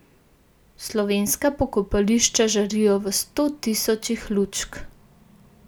Slovenska pokopališča žarijo v stotisočih lučk.